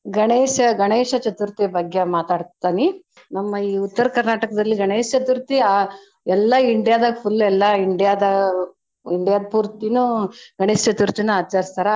ಗಣೇಶ ಗಣೇಶ ಚತುರ್ಥಿ ಬಗ್ಗೆ ಮಾತಾಡ್ತನಿ ನಮ್ಮ ಈ Uttara Karnataka ದಲ್ಲಿ ಗಣೇಶ ಚತುರ್ಥಿ ಆ ಎಲ್ಲಾ India ದಾಗ full ಎಲ್ಲಾ India ದ್ India ದ್ ಪುರ್ತೀನೂ ಗಣೇಶ ಚತುರ್ಥಿನ್ ಆಚರಿಸ್ತಾರ.